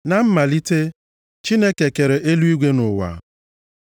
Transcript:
Na mmalite Chineke kere eluigwe na ụwa.